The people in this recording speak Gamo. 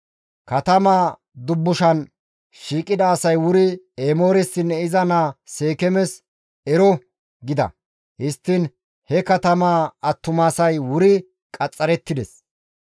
Katamaa dubbushan shiiqida asay wuri Emooressinne iza naa Seekeemes, «Ero» gida. Histtiin he katama attumasay wuri qaxxarettides.